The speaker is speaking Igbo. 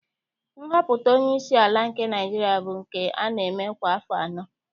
Nhọpụta onyeisi ala nke Naịjirịa bụ nke a na-eme kwa afọ anọ